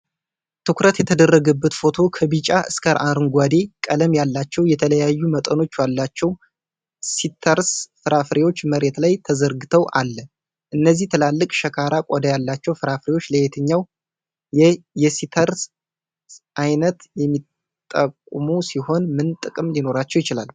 ትኩረት የተደረገበት ፎቶ ከቢጫ እስከ አረንጓዴ ቀለም ያላቸው የተለያዩ መጠኖች ያላቸው ሲትረስ ፍራፍሬዎች መሬት ላይ ተዘርግተው አለ ፤ እነዚህ ትላልቅ፣ ሻካራ ቆዳ ያላቸው ፍራፍሬዎች ለየትኛው የሲትረስ አይነት የሚጠቁሙ ሲሆን ምን ጥቅም ሊኖራቸው ይችላል?